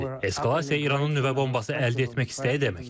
Eskalasiya İranın nüvə bombası əldə etmək istəyi deməkdir.